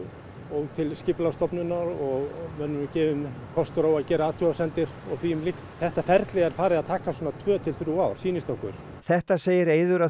og til Skipulagsstofnunar og mönnum er gefinn kostur á að gera athugasemdir og því um líkt þetta ferli er farið að taka svona tvö til þrjú ár sýnist okkur þetta segir Eiður að